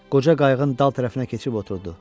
Qoca qayığın dal tərəfinə keçib oturdu.